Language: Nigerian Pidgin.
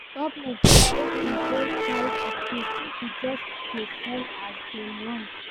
Government suppose control price of tins, pipo just dey sell as dem want.